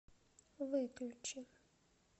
выключи